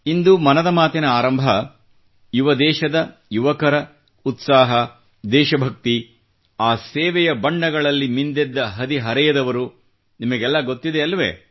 ಇಂದು ಮನದ ಮಾತಿನ ಆರಂಭ ಯುವ ದೇಶದ ಯುವಕರ ಉತ್ಸಾಹ ದೇಶಭಕ್ತಿ ಆ ಸೇವೆಯ ಬಣ್ಣಗಳಲ್ಲಿ ಮಿಂದೆದ್ದ ಹದಿ ಹರೆಯದವರು ನಿಮಗೆಲ್ಲ ಗೊತ್ತಿದೆಯಲ್ಲವೆ